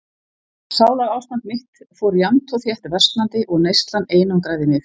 Sálarástand mitt fór jafnt og þétt versnandi og neyslan einangraði mig.